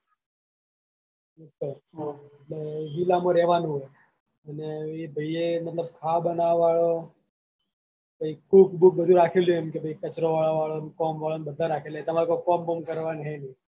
villa માં રેવાનું એને એ ભાઈએ મતલબ ખાવાનું બનાવાવાલો પહી cook book બધું રાખેલું છે એમ કે ભાઈ કચરો વાળવાવાળો કામવાળો બધા રાખેલા છે તમારે કોઈ કોમ કરવાનું છે નઈ.